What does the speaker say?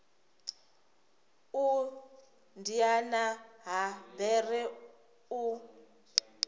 u diana ha bere u